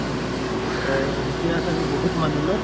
অহ, এতিয়া চাগে বহুত মানুহ ন?